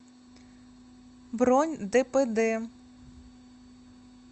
бронь дпд